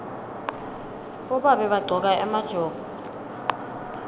bobabe bagcoka emajobo